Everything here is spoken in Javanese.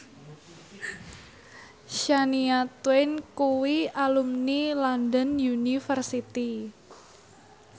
Shania Twain kuwi alumni London University